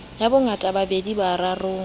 ya bongata ba pedi borarong